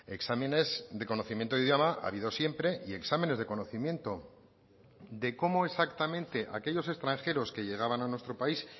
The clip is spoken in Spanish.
exámenes de conocimiento de idioma ha habido siempre y exámenes de conocimiento de cómo exactamente aquellos extranjeros que llegaban a nuestro país